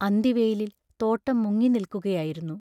അന്തിവെയിലിൽ തോട്ടം മുങ്ങിനിൽക്കുകയായിരുന്നു.